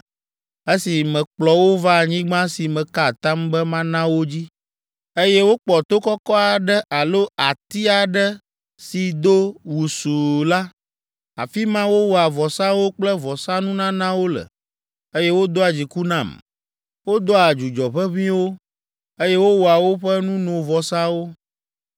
Esi mekplɔ wo va anyigba si meka atam be mana wo dzi, eye wokpɔ to kɔkɔ aɖe alo ati aɖe si do wusuu la, afi ma wowɔa vɔsawo kple vɔsanunanawo le, eye wodoa dziku nam. Wodoa dzudzɔʋeʋĩwo, eye wowɔa woƒe nunovɔsawo.’